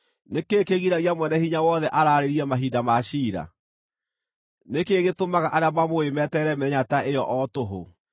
“Nĩ kĩĩ kĩgiragia Mwene-Hinya-Wothe araarĩrie mahinda ma ciira? Nĩ kĩĩ gĩtũmaga arĩa mamũũĩ meterere mĩthenya ta ĩyo o tũhũ?